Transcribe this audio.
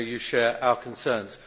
I know you share our concerns.